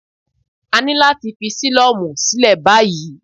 A ní láti fi sílọ́mù sílẹ̀ báyìí.